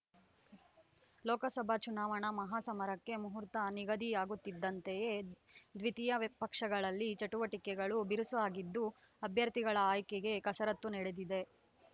ಲೋಕಸಭಾ ಚುನಾವಣಾ ಮಹಾಸಮರಕ್ಕೆ ಮಹೋರ್ತ ನಿಗದಿಯಾಗುತ್ತಿದ್ದಂತೆಯೇ ದ್ವಿತೀಯ ವಿಪಕ್ಷಗಳಲ್ಲಿ ಚಟುವಟಿಕೆಗಳು ಬಿರುಸಾಗಿದ್ದು ಅಭ್ಯರ್ಥಿಗಳ ಆಯ್ಕೆಗೆ ಕಸರತ್ತು ನಡೆದಿದೆ